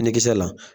Ne kisɛ la